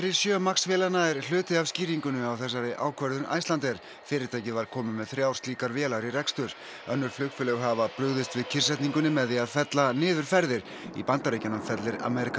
sjö Max vélanna er hluti af skýringunni á þessari ákvörðun Icelandair fyrirtækið var komið með þrjár slíkar vélar í rekstur önnur flugfélög hafa brugðist við kyrrsetningunni með því að fella niður ferðir í Bandaríkjunum fellir American